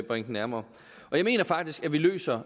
bringe den nærmere jeg mener faktisk at vi løser